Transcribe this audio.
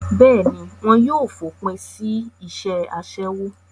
bẹ́ẹ̀ni, fòpin sí isẹ́ asẹ́wó